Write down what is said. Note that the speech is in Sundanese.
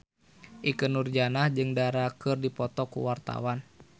Ikke Nurjanah jeung Dara keur dipoto ku wartawan